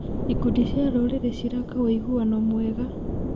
Ikundi cia rũrĩrĩ ciraka ũiguano mwega.